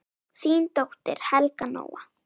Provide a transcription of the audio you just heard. Þín dóttir, Helga Nóa.